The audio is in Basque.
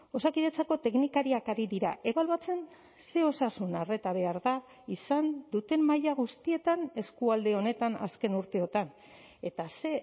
osakidetzako teknikariak ari dira ebaluatzen ze osasun arreta behar da izan duten maila guztietan eskualde honetan azken urteotan eta ze